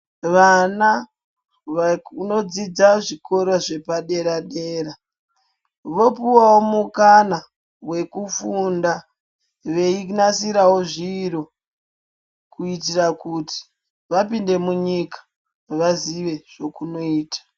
Vana vanodzidza zvikora zvepa dera dera vopuwawo mukana wekufunda veinasirawo zviro kuitira kuti vapinde munyika vazive zvekunoita.